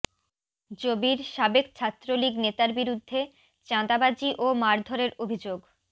জবির সাবেক ছাত্রলীগ নেতার বিরুদ্ধে চাঁদাবাজি ও মারধরের অভিযোগ